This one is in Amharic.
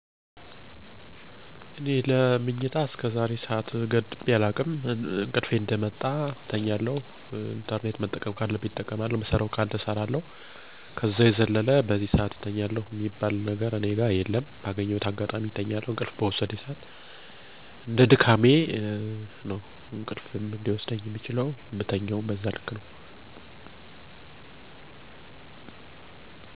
አብዛኛውን ጊዜ የምተኘው አራት (4) ሰአት እተኛለሁ። ከመኛቴ በፊት እራት እሰራለሁ፣ ኢንተረኔት እጠቀማለሁ እንዲሁም የቀጣይ ቀን ጵሮግራም አወጣለሁ።